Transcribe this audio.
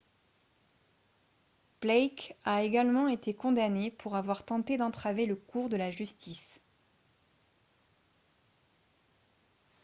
blake a également été condamné pour avoir tenté d'entraver le cours de la justice